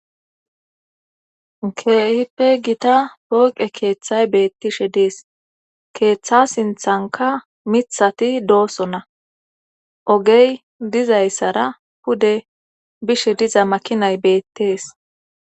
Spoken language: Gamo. keehippe gita pooqe keeththay beettishe dees keeththa sinthanka mithati dooso na ogey dizayssara pude bishe diza makinay beettees